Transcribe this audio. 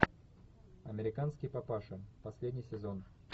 американский папаша последний сезон